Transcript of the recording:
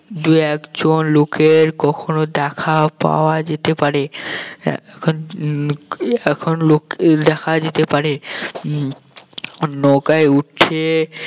দুই একজন লোকের কখন দেখা যেতে পারে আহ এখন আহ এখন লোকের দেখা যেতে পারে উম নৌকায় উঠে